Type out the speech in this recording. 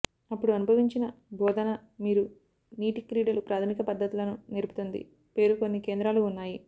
అప్పుడు అనుభవించిన బోధనా మీరు నీటి క్రీడలు ప్రాథమిక పద్ధతులను నేర్పుతుంది పేరు కొన్ని కేంద్రాలు ఉన్నాయి